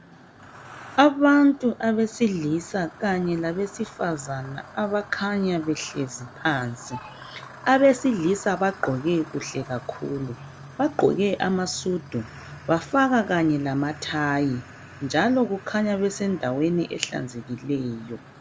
Abantu abesilisa kanye labesifazana bakhanya behlezi phansi. Abesilisa bagqoke kuhle kakhulu. Bagqoke amasudu, bafaka kanye lamathayi, njalo kukhanya besendaweni ehlanzekileyo.